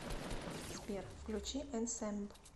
сбер включи энсэмб